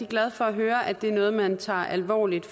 glad for at høre at det er noget man tager alvorligt